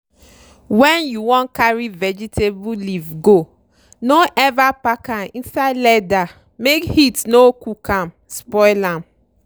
wen you wan carry vegetable leaf go no ever pack am inside leather make heat no cook am con spoil am.